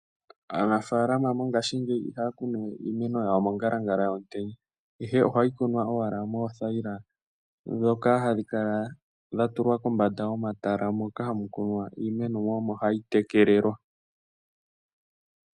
Aanafaalama mongashingeyi ihaa kunu we iimeno yawo mongalangala yomutenya, ihe oha yi kunwa owala moothaila, ndhoka hadhi kala dha tulwa kombanda yomatala moo mu kunwa iimeno mo, omo ha yi tekelelwa.